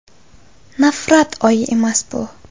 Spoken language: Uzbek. Nafrat oyi emas bu!